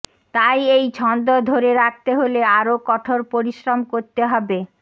তাই এই ছন্দ ধরে রাখতে হলে আরও কঠোর পরিশ্রম করতে হবে